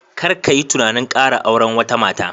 Kar ka yi tunanin kara auren wata mata